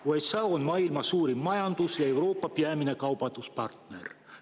USA on maailma suurim majandus ja Euroopa peamine kaubanduspartner.